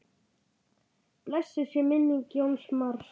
Blessuð sé minning Jóns Mars.